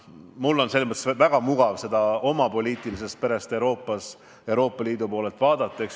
Mul on väga mugav vaadata seda oma poliitilise pere, Euroopa Liidu poolelt.